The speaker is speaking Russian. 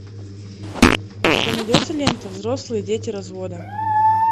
у тебя найдется лента взрослые дети развода